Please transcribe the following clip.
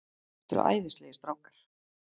Þetta eru æðislegir strákar.